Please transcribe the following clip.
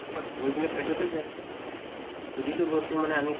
গৈ কিনে পেটতে যায়। যিটো বস্তু মানে আমি